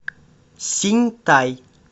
синьтай